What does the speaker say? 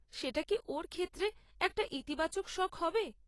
সেটা কি ওর ক্ষেত্রে একটা ইতিবাচক শখ হবে?